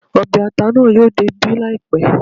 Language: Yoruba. Ọbẹ̀ ata naa yóò dé ibí láìpẹ́